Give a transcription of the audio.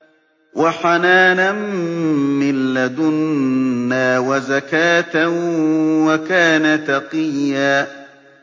وَحَنَانًا مِّن لَّدُنَّا وَزَكَاةً ۖ وَكَانَ تَقِيًّا